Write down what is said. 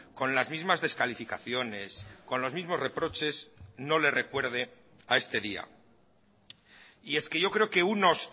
con las mismas descalificaciones con los mismos reproches no le recuerde a este día y es que yo creo que unos